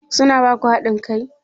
Su na ba ku haɗin kai?